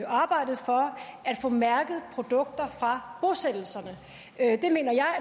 arbejdet for at få mærket produkter fra bosættelserne